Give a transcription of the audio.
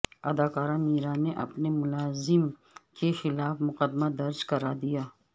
اداکارہ میرا نے اپنے ملازم کیخلاف مقدمہ درج کرادیا